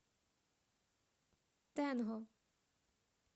тэнго